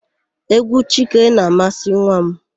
Égwú Chike na-amasị nwa m.